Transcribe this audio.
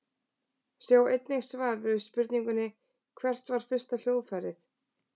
Sjá einnig svar við spurningunni Hvert var fyrsta hljóðfærið?